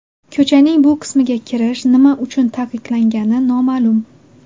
Ko‘chaning bu qismiga kirish nima uchun taqiqlangani noma’lum.